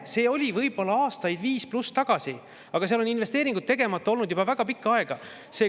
See oli võib-olla aastaid viis pluss tagasi nii, aga seal on investeeringud tegemata olnud juba väga pikka aega.